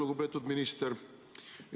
Lugupeetud minister!